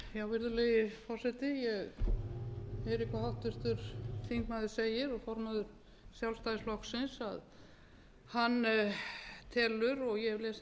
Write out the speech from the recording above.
fara með þetta mál fyrir dómstólana að því er varðar alþjóðagjaldeyrissjóðinn hann er þá annarrar skoðunar en hann